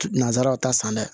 Nanzaraw ta san dɛ